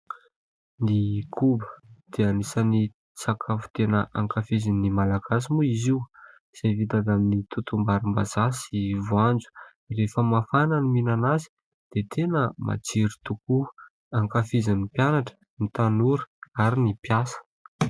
Ny koba dia anisany sakafo tena ankafizin'ny Malagasy moa izy io izay vita avy amin'ny totom-barimbazaha sy voanjo rehefa mafana ny mihinana azy dia tena matsiro tokoa. Ankafizin'ny mpianatra, ny tanora ary ny mpiasa.